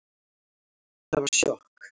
Það var sjokk